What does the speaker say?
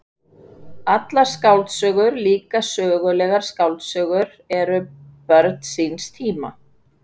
Allar skáldsögur, líka sögulegar skáldsögur, eru börn síns tíma.